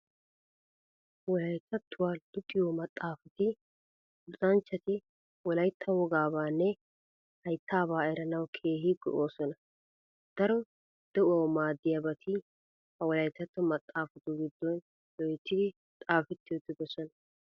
Wolayttattuwaa luxiyo maxaafati luxanchchati Wolaytta wogaabaanne haydaabaa eranawu keehi go"oosona. Daro de'uwawu maaddiyabati ha wolayttatto maxaafatu giddon loyttidi xaafettidi uttidosona.